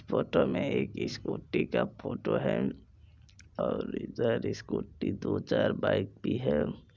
Photo मे एक scooty का फोटो है और इधर स्कूटी दो चार बाइक भी है।